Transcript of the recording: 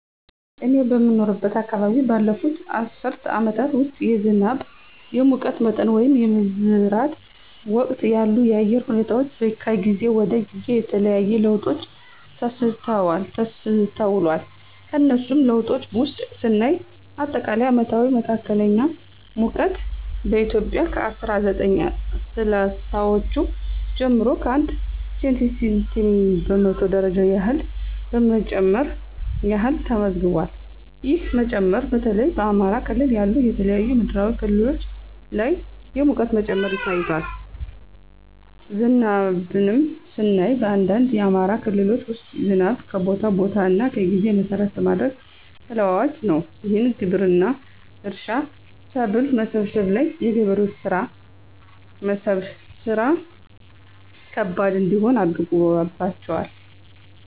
እኔ በምኖርበት አከባቢ ባለፉት አስርት አመታት ውስጥ የዝናብ፣ የሙቀት መጠን ወይንም የመዝራት ወቅት ያሉ የአየር ሁኔታወች ከጊዜ ወደ ጊዜ የተለያየ ለውጦች ተስተውሏል። ከነሱም ለውጦች ውስጥ ስናይ አጠቃላይ አመታዊ መካከለኛ ሙቀት በኢትዮጵያ ከ አስራ ዘጠኝ ስልሳወቹ ጀምሮ 1°c በመቶ ደረጃ ያህል መጨመር ያህል ተመዝግቧል። ይህ መጨመር በተለይ በአማራ ክልል ያሉ የተለያዩ ምድራዊ ክፍሎች ላይ የሙቀት መጨመር ታይቷል። ዝናብንም ስናይ በአንዳንድ የአማራ ክልሎች ውስጥ ዝናብ ከቦታ ቦታ እና ጊዜ መሰረት በማድረግ ተለዋዋጭ ነው። ይህም ግብርና፣ እርሻ፣ ሰብል መሰብሰብ ላይ የገበሬዎችን ስራ ከባድ እንዲሆን አድርጎባቸዋል።